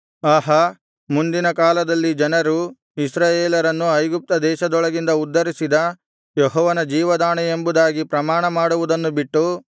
ಆಹಾ ಮುಂದಿನ ಕಾಲದಲ್ಲಿ ಜನರು ಇಸ್ರಾಯೇಲರನ್ನು ಐಗುಪ್ತ ದೇಶದೊಳಗಿಂದ ಉದ್ಧರಿಸಿದ ಯೆಹೋವನ ಜೀವದಾಣೆ ಎಂಬುದಾಗಿ ಪ್ರಮಾಣ ಮಾಡುವುದನ್ನು ಬಿಟ್ಟು